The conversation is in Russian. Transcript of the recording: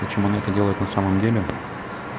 почему он это делает на самом деле